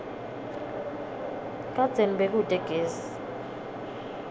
kadzeni bekute gesi